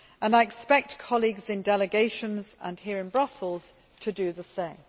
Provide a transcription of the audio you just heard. I expect colleagues in delegations and here in Brussels to do the same.